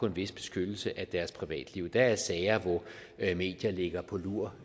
en vis beskyttelse af deres privatliv der er sager hvor medier ligger på lur